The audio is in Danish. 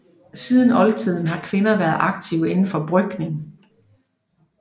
Siden oldtiden har kvinder været aktive indenfor brygning